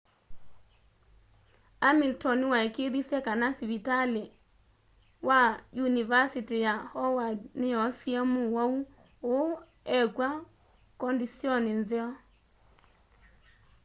hamilton nĩwaĩkĩĩthĩsye kana sĩvitalĩ wa yũnĩvasĩtĩ ya howard nĩyoosĩe mũwaũ ũũ ekwa kondisyoni nzeo